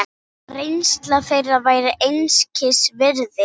Reynsla þeirra væri einskis virði.